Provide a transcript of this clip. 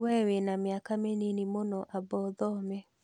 Wee wĩna mĩaka mĩnini mũno amba ũthome